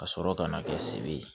Ka sɔrɔ ka na kɛ se be ye